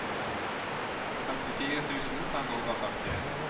femtifire tusen fem hundre og førtien